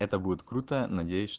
это будет круто надеюсь ч